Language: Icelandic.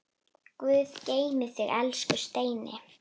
Guð geymi þig, elsku Steini.